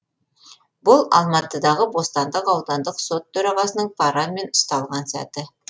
бұл алматыдағы бостандық аудандық сот төрағасының парамен ұсталған сәті